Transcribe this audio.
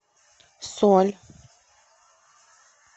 соль